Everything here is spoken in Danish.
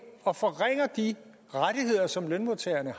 og forringer de rettigheder som lønmodtagerne